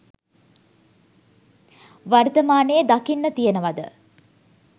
වර්තමානයේ දකින්න තියෙනවද?